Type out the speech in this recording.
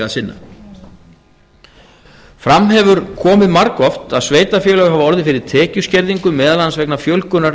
sinna fram hefur komið margoft að sveitarfélög hafi orðið fyrir tekjuskerðingu meðal annars vegna fjölgunar